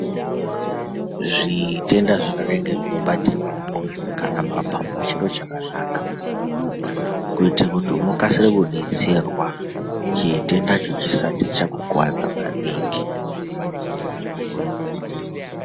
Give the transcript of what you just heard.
Zviitenda zvakadai ngezvinobata mumwoyo kana mapapu chiro chakanaka kuitira kuti unokasa kudetserwa chitendacho chisati chakukuwadza maningi.